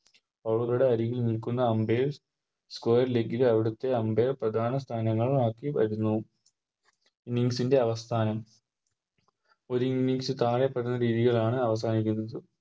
Over കളുടെ അരികിൽ നിൽക്കുന്ന Umpire Square leg ലെ അവിടുത്തെ Umpire പ്രധാന സ്ഥാനങ്ങളും ആക്കി വരുന്നു Innings ൻറെ അവസാനം ഒര് Innings താഴെപ്പറയുന്ന രീതിയിലാണ് അവസാനിക്കുന്നത്